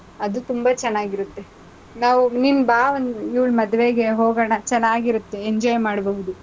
ಅದು ತುಂಬಾ ಚೆನ್ನಾಗಿರುತ್ತೆ. ನಾವು ನೀನ್ ಬಾ ಒಂದ್ ಇವ್ಳ್ ಮದ್ವೆಗೆ ಹೋಗೋಣ ಚೆನ್ನಾಗಿರತ್ತೆ , enjoy ಮಾಡ್ಬಹುದು.